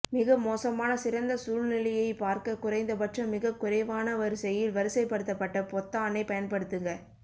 மிக மோசமான சிறந்த சூழ்நிலையைப் பார்க்க குறைந்தபட்சம் மிகக்குறைவான வரிசையில் வரிசைப்படுத்தப்பட்ட பொத்தானைப் பயன்படுத்துக